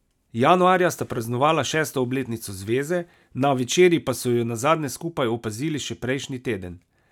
Januarja sta praznovala šesto obletnico zveze, na večerji pa so ju nazadnje skupaj opazili še prejšnji teden.